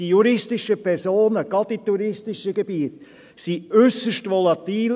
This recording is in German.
Die juristischen Personen, gerade in touristischen Gebieten, sind äusserst volatil.